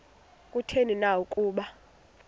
kutheni na ukuba